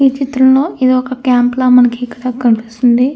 ఈ చిత్రంలో ఇది ఒక క్యాంపు ల మనకి ఇక్కడ కనిపిస్తుంది.